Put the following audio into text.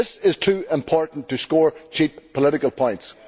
This is too important to score cheap political points.